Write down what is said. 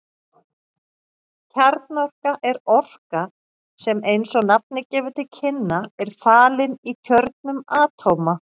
Kjarnorka er orka sem eins og nafnið gefur til kynna er falin í kjörnum atóma.